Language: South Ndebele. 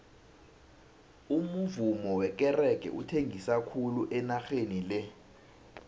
umuvummo wekerege uthengisa khulu enageni le